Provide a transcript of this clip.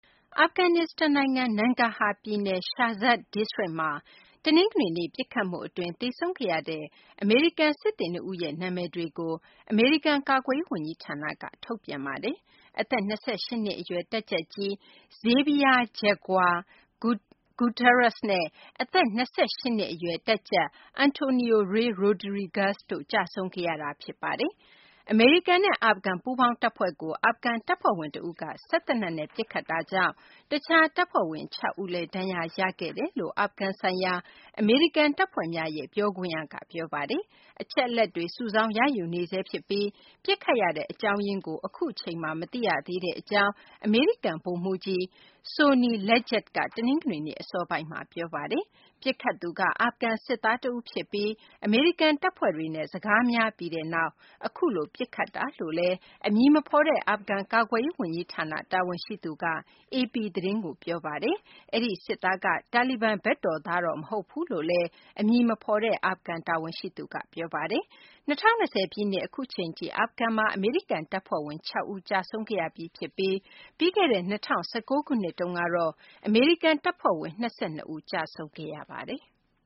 အာဖဂန်နစ္စတန်နိုင်ငံ နန်ဂါဟာပြည်နယ် Sherzas ဒိစတြိတ်မှာ တနင်္ဂနွေနေ့ ပစ်ခတ်မှုအတွင်း သေဆုံးခဲ့ရတဲ့ အမေရိကန်စစ်သည် နှစ်ဦးရဲ့ နာမည်တွေကို အမေရိကန် ကာကွယ်ရေးဝန်ကြီးဌာနက ထုတ်ပြန်ပါတယ်။ အသက် ၂၈ နှစ်အရွယ် တပ်ကြပ်ကြီး Javier Jaguar Gutierrez နဲ့ အသက် ၂၈ နှစ်အရွယ် တပ်ကြပ် Antonio Rey Rodriguez တို့ ကျဆုံးခဲ့ရတာပါ။ အမေရိကန်နဲ့ အာဖဂန် ပူးပေါင်းတပ်ဖွဲ့ကို အာဖဂန်တပ်ဖွဲ့ဝင်တဦးက စက်သေနတ်နဲ့ ပစ်ခတ်တာကြောင့် တခြားတပ်ဖွဲ့ဝင် ၆ ဦးလည်း ဒဏ်ရာရခဲ့တယ်လို့ အာဖဂန်ဆိုင်ရာ အမေရိကန်တပ်ဖွဲ့များရဲ့ ပြောခွင့်ရက ပြောပါတယ်။ အချက်အလက်တွေ စုဆောင်းရယူနေဆဲဖြစ်ပြီး ပစ်ခတ်ရတဲ့ အကြောင်းရင်းကို အခုအချိန်မှာ မသိရသေးကြောင်း အမေရိကန် ဗိုလ်မှူးကြီး Sonny Leggett က တနင်္ဂနွေနေ့ အစောပိုင်းမှာ ပြောဆိုပါတယ်။ ပစ်ခတ်သူက အာဖဂန်စစ်သားတဦးဖြစ်ပြီး အမေရိကန် တပ်ဖွဲ့တွေနဲ့ စကားများပြီးတဲ့နောက် အခုလို ပစ်ခတ်ခဲ့တာဖြစ်ကြောင်း အမည်မဖော်တဲ့ အာဖဂန် ကာကွယ်ရေးဝန်ကြီးဌာန တာဝန်ရှိသူက AP သတင်းကို ပြောဆိုထားပါတယ်။ အဲဒီစစ်သားက တာလီဘန်ဘက်တော်သား မဟုတ်ဘူးလို့လည်း အမည်မဖော်တဲ့ အာဖဂန် တာဝန်ရှိသူက ပြောပါတယ်။ ၂၀၂၀ ပြည့်နှစ် အခုအချိန်ထိ အာဖဂန်မှာ အမေရိကန်တပ်ဖွဲ့ဝင် ၆ ဦး ကျဆုံးခဲ့ရပြီး ဖြစ်ပါတယ်။ ပြီးခဲ့တဲ့ ၂၀၁၉ ခုနှစ်တုန်းကတော့ အမေရိကန်တပ်ဖွဲ့ဝင် ၂၂ ဦး အာဖဂန်မှာ ကျဆုံးခဲ့ရပါတယ်။